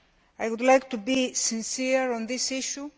I would like to be sincere on this issue.